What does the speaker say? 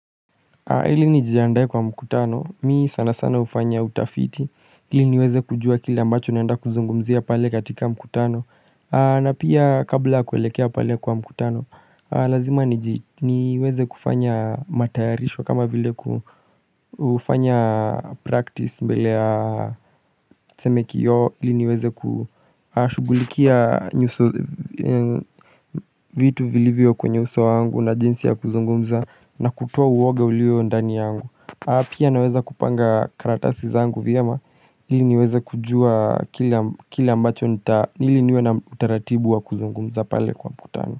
Ili nijiandae kwa mkutano, mi sana sana hufanya utafiti ili niweze kujua kile ambacho naenda kuzungumzia pale katika mkutano na pia kabla kuelekea pale kwa mkutano Lazima niweze kufanya matayarisho kama vile kufanya practice mbele ya tuseme kioo ili niweze kushugulikia vitu vilivyo kwenye uso wangu na jinsi ya kuzungumza na kutoa uwoga ulio ndani yangu pia naweza kupanga karatasi zangu vyema ili niweze kujua kila ambacho ili niwe na utaratibu wa kuzungumza pale kwa mkutano.